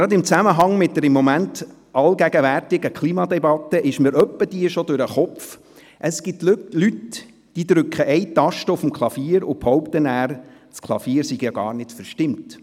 Gerade im Zusammenhang mit der im Moment allgegenwärtigen Klimadebatte ist mir ab und zu schon durch den Kopf gegangen, dass es hin und wieder Leute gibt, die nur eine Taste des Klaviers drücken, aber behaupten, das Klavier sei gar nicht verstimmt.